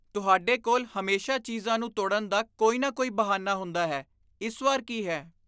ਤੁਹਾਡੇ ਕੋਲ ਹਮੇਸ਼ਾ ਚੀਜ਼ਾਂ ਨੂੰ ਤੋੜਨ ਦਾ ਕੋਈ ਨਾ ਕੋਈ ਬਹਾਨਾ ਹੁੰਦਾ ਹੈ। ਇਸ ਵਾਰ ਕੀ ਹੈ?